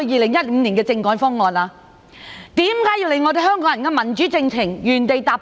為何要令香港人的民主進程原地踏步？